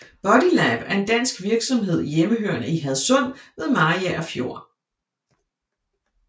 Bodylab er en dansk virksomhed hjemhørende i Hadsund ved Mariager Fjord